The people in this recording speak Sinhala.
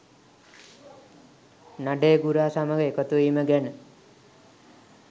නඩේගුරා සමග එකතුවීම ගැන.